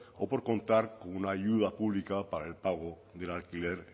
o por contar con una ayuda pública para el pago del alquiler